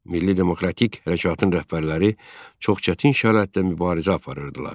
Milli demokratik hərəkatın rəhbərləri çox çətin şəraitdə mübarizə aparırdılar.